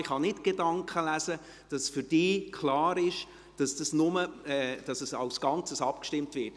Ich kann nicht davon ausgehen, dass es für Sie klar ist, dass dies nur gilt, wenn gesamthaft abgestimmt wird.